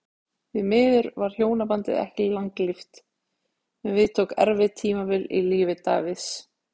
Því miður varð hjónabandið ekki langlíft og við tók erfitt tímabil í lífi Davids.